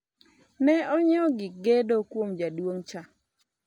ne onyiewo gik gedo kuom jaduong' cha